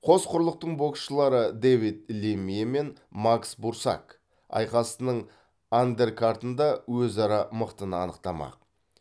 қос құрлықтың боксшылары дэвид лемье мен макс бурсак айқасының андеркартында өзара мықтыны анықтамақ